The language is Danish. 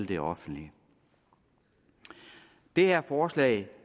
det offentlige det her forslag